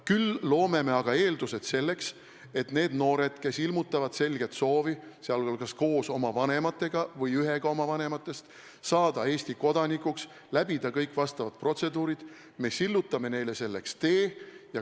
Küll loome eeldused selleks, et nendele noortele, kes ilmutavad selget soovi, sh koos oma vanematega või ühega oma vanematest, saada Eesti kodanikuks, läbida kõik vastavad protseduurid, oleks tee selleks sillutatud.